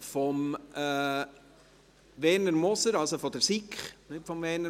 Vor der Mittagspause machen wir noch Folgendes: